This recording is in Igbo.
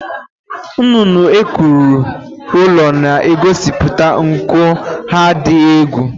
Nnụnụ ekwuru ụlọ na-egosiputa nku ha dị egwu